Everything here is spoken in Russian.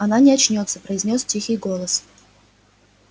она не очнётся произнёс тихий голос